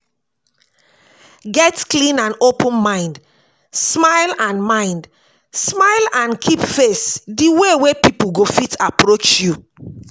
Get clean and open mind, smile and mind, smile and keep face di way wey pipo go fit approach you